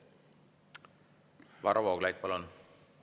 Varro Vooglaid, palun!